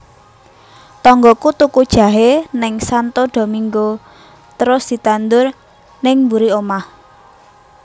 Tonggoku tuku jahe ning Santo Domingo trus ditandur ning mburi omah